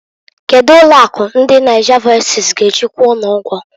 Kedu ụlọ akụ ndi Nigervoices g'eji kwụọ unu ụgwọ?